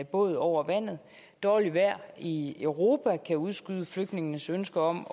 båd over vandet dårligt vejr i europa kan udskyde flygtningenes ønske om